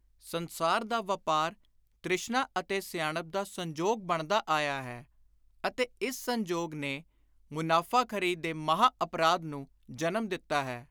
ਸੰਸਾਰ ਦਾ ਵਾਪਾਰ ਤਿ੍ਸ਼ਨਾ ਅਤੇ ਸਿਆਣਪ ਦਾ ਸੰਜੋਗ ਬਣਦਾ ਆਇਆ ਹੈ ਅਤੇ ਇਸ ਸੰਜੋਗ ਨੇ ਮੁਨਾਫ਼ਾਖ਼ਰੀ ਦੇ ਮਹਾਂ-ਅਪਰਾਧ ਨੂੰ ਜਨਮ ਦਿੱਤਾ ਹੈ।